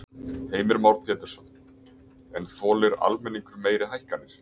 Heimir Már Pétursson: En þolir almenningur meiri hækkanir?